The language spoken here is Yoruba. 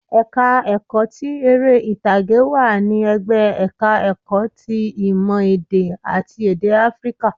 Ẹ̀ka ẹ̀kọ́ ti eré ìtàgé wà ní ẹ̀gbẹ́ ẹ̀ka ẹ̀kọ́ ti ìmọ̀ èdè àti èdè áfíríkà